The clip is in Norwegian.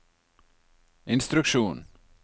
instruksjon